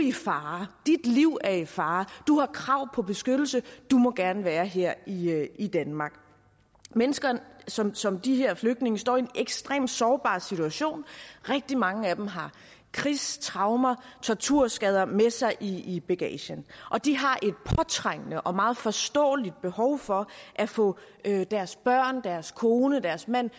i fare dit liv er i fare du har krav på beskyttelse du må gerne være her i i danmark mennesker som som de her flygtninge står i en ekstremt sårbar situation rigtig mange af dem har krigstraumer og torturskader med sig i i bagagen og de har et påtrængende og meget forståeligt behov for at få deres børn deres kone deres mand